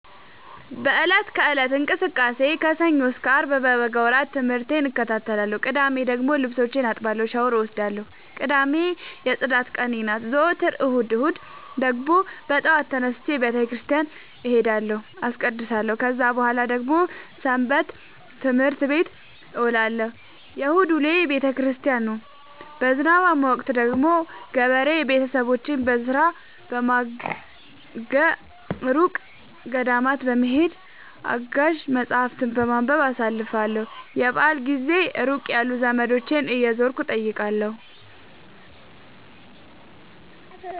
በእለት ከእለት እንቅስቃሴዬ ከሰኞ እስከ አርብ በበጋ ወራት ትምህርቴን እከታተላለሁ። ቅዳሜ ደግሞ ልብሶቼን አጥባለሁ ሻውር እወስዳለሁ ቅዳሜ የፅዳት ቀኔ ናት። ዘወትር እሁድ እሁድ ደግሞ በጠዋት ተነስቼ በተክርስቲያን እሄዳለሁ አስቀድሳሁ። ከዛ በኃላ ደግሞ ሰበትምህርት ቤት እውላለሁ የእሁድ ውሎዬ ቤተክርስቲያን ነው። በዝናባማ ወቅት ደግሞ ገበሬ ቤተሰቦቼን በስራ በማገ፤ እሩቅ ገዳማት በመሄድ፤ አጋዥ መፀሀፍትን በማንበብ አሳልፍለሁ። የበአል ጊዜ ሩቅ ያሉ ዘመዶቼን እየዞርኩ እጠይቃለሁ።